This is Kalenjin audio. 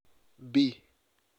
B